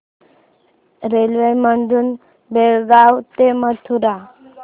railway मधून बेळगाव ते मथुरा